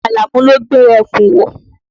Àlàmú ló gbé ẹ̀kú wọ̀.